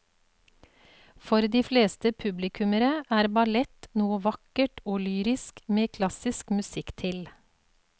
For de fleste publikummere er ballett noe vakkert og lyrisk med klassisk musikk til.